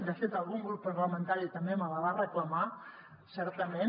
de fet algun grup parlamentari també me la va reclamar certament